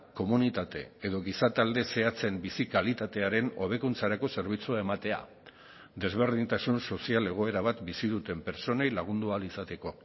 komunitate edo gizatalde zehatzen bizi kalitatearen hobekuntzarako zerbitzua ematea desberdintasun sozial egoera bat bizi duten pertsonei lagundu ahal izateko